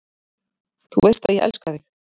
Þú veist að ég elska þig.